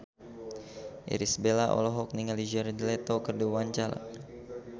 Irish Bella olohok ningali Jared Leto keur diwawancara